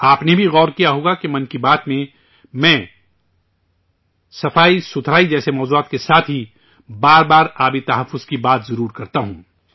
آپ نے بھی غور کیا ہوگا کہ 'من کی بات' میں، میں، صفائی جیسے موضوعات کے ساتھ ہی بار بار پانی کے تحفظ کی بات ضرور کرتا ہوں